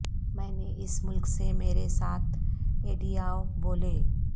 میں نے اس ملک سے میرے ساتھ ایڈیاو بولے